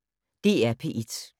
DR P1